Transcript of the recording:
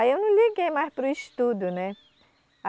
Aí eu não liguei mais para o estudo, né?